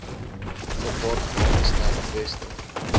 gepaardgaande sterk weste